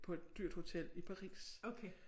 På et dyrt hotel i Paris